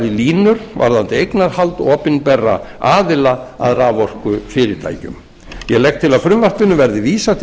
línur varðandi eignarhald opinberra aðila að raforkufyrirtækjum ég legg til að frumvarpinu verði vísað til